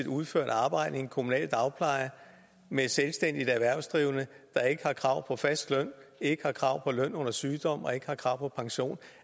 udført arbejde i en kommunal dagpleje med selvstændigt erhvervsdrivende der ikke har krav på fast løn ikke har krav på løn under sygdom og ikke har krav på pension